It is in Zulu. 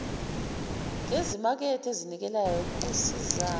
ngezimakethe ezinikelayo kusiza